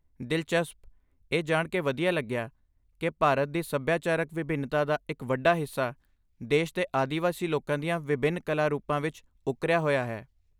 ਦਿਲਚਸਪ! ਇਹ ਜਾਣ ਕੇ ਵਧੀਆ ਲੱਗਿਆ ਕਿ ਭਾਰਤ ਦੀ ਸੱਭਿਆਚਾਰਕ ਵਿਭਿੰਨਤਾ ਦਾ ਇੱਕ ਵੱਡਾ ਹਿੱਸਾ ਦੇਸ਼ ਦੇ ਆਦਿਵਾਸੀ ਲੋਕਾਂ ਦੀਆਂ ਵਿਭਿੰਨ ਕਲਾ ਰੂਪਾਂ ਵਿੱਚ ਉੱਕਰਿਆ ਹੋਇਆ ਹੈ।